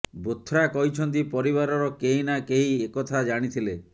ବୋଥ୍ରା କହିଛନ୍ତି ପରିବାରର କେହି ନା କେହି ଏକଥା ଜାଣିଥିଲେ